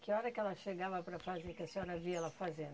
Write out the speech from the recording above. Que hora que ela chegava para fazer, que a senhora via ela fazendo?